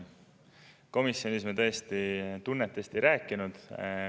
Komisjonis me tõesti tunnetest ei rääkinud.